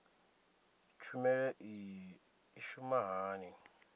tshumelo iyi i shuma hani